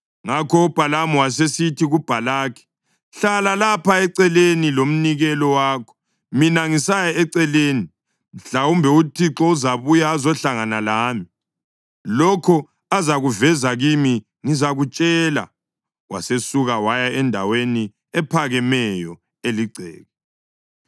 Ngakho uBhalamu wasesithi kuBhalaki, “Hlala lapha eceleni lomnikelo wakho mina ngisaya eceleni. Mhlawumbe uThixo uzabuya azohlangana lami. Lokho azakuveza kimi ngizakutshela.” Wasesuka waya endaweni ephakemeyo eligceke.